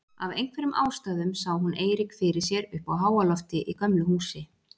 Af einhverjum ástæðum sá hún Eirík fyrir sér uppi á háalofti í gömlu húsi.